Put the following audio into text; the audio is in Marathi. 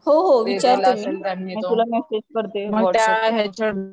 हो हो विचारते मी, मग तुला मेसेज करते